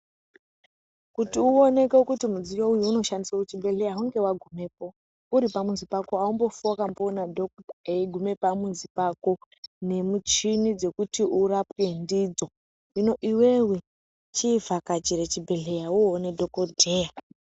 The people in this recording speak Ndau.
Kuti uoneke kuti mudziyo uyu unoshandiswe kuchibhedhleya hunge vagumepo. Uri pamuzi pako hambofi vakaona dhokuta eiguma pamuzi pako. Nemichini dzekuti urapwe ndidzo hino iveve chivhakachira chibhedhleya oone dhogodheya.